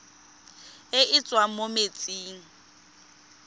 e e tswang mo metsing